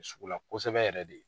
Sugula kosɛbɛ yɛrɛ de.